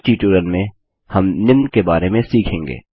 इस ट्यूटोरियल में हम निम्न के बारे में सीखेंगे